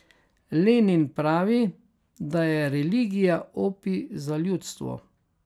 Lenin pravi, da je religija opij za ljudstvo.